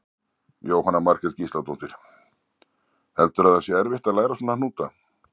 Jóhanna Margrét Gísladóttir: Heldurðu að það sé erfitt að læra svona hnúta?